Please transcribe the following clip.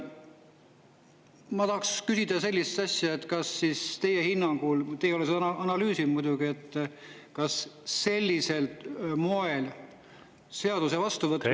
Ma tahan küsida sellist asja, kas teie hinnangul – te ei ole seda analüüsinud muidugi – sellisel moel seaduse vastuvõtmine …